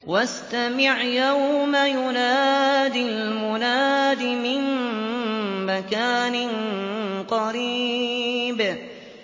وَاسْتَمِعْ يَوْمَ يُنَادِ الْمُنَادِ مِن مَّكَانٍ قَرِيبٍ